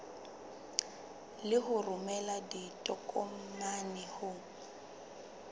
le ho romela ditokomane ho